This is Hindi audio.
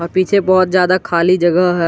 पीछे बहुत ज्यादा खाली जगह है।